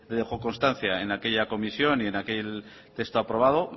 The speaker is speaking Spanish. dejó constancia en aquella comisión y en aquel texto aprobado